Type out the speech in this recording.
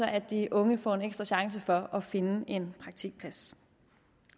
at de unge får en ekstra chance for at finde en praktikplads